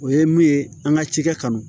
O ye mun ye an ka cikɛ kanu